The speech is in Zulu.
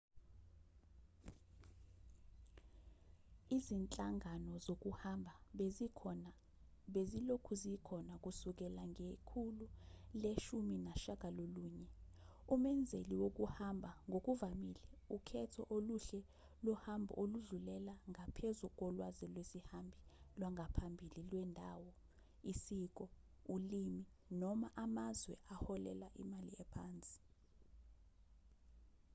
izinhlangano zokuhamba bezilokhu zikhona kusukela ngekhulu le-19 umenzeli wokuhamba ngokuvamile ukhetho oluhle lohambo oludlulela ngaphezu kolwazi lwesihambi lwangaphambili lwendalo isiko ulimi noma amazwe aholela imali ephansi